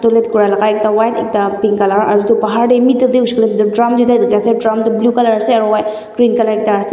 kura laka ekta wall ekta pink color aro bahar de middle de hoishae koile tu drum tuita diki ase drum tu blue color ase whi green color ekta ase.